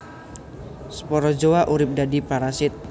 Sporozoa urip dadi parasit